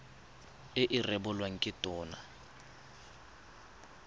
e e rebolwang ke tona